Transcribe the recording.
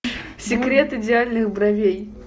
секрет идеальных бровей